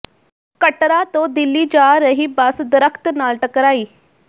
ਕਟੜਾ ਤੋਂ ਦਿੱਲੀ ਜਾ ਰਹੀ ਬੱਸ ਦਰੱਖ਼ਤ ਨਾਲ ਟਕਰਾਈ